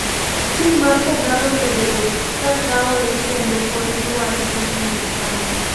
Tim mar kogallo osebedo kakawe kendo pod giwacho nigi kawe.